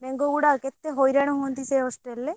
ବେଙ୍ଗ ଗୁଡାକ କେତେ ହଇରାଣ ହୁଅନ୍ତି ସେ hostel ରେ।